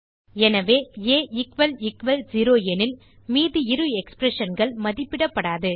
எனவே ஆ செரோ எனில் மீதி இரு expressionகள் மதிப்பிடப்படாது